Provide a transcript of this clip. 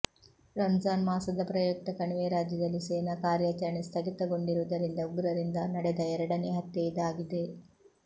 ರಂಜಾನ್ ಮಾಸದ ಪ್ರಯುಕ್ತ ಕಣಿವೆ ರಾಜ್ಯದಲ್ಲಿ ಸೇನಾ ಕಾರ್ಯಾಚರಣೆ ಸ್ಥಗಿತಗೊಂಡಿರುವುದರಿಂದ ಉಗ್ರರಿಂದ ನಡೆದ ಎರಡನೇ ಹತ್ಯೆ ಇದಾಗಿದೆ